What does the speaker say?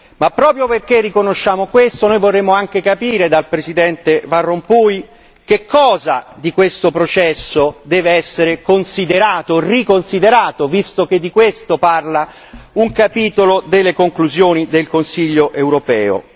Ma proprio perché riconosciamo questo, noi vorremmo anche capire dal presidente Van Rompuy quali aspetti di questo processo devono essere riconsiderati, visto che di questo parla un capitolo delle conclusioni del Consiglio europeo.